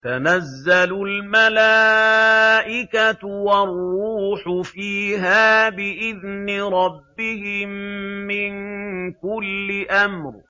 تَنَزَّلُ الْمَلَائِكَةُ وَالرُّوحُ فِيهَا بِإِذْنِ رَبِّهِم مِّن كُلِّ أَمْرٍ